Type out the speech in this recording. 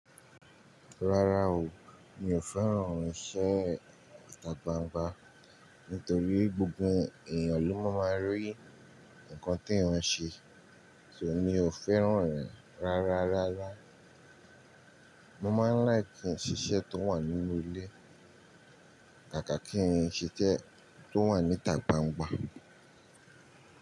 Rárá o, mi ò fẹ́ràn irinṣẹ́ ìtà gbangba nítorí gbogbo èèyàn ló máa maa rí nǹkan tí eeyan se, ṣo mi ò fẹ́ràn rẹ̀ rárárárá. Mo máa ń like ki n sise tó wà nínú ilé kàkà kí n sise tó wà ní ìtà gbangba.